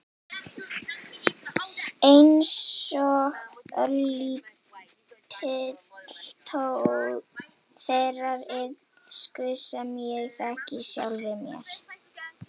Einsog örlítill tónn þeirrar illsku sem ég þekki í sjálfri mér.